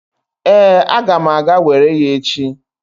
Ee, aga m aga were ya echi.